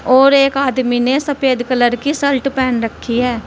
और एक आदमी ने सफेद कलर की शर्ट पहन रखी है।